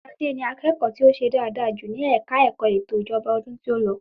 Ṣadé ni akẹ́ẹ̀ko ti o ṣe dáadáa jù ní ẹ̀ka ẹ̀kọ́ ẹ̀tò ìjọba ọdún tí o lọ